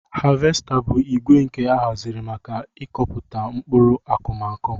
Havesta bu igwe nke ahaziri maka ikọpụta nkpụrụ akụmakụ.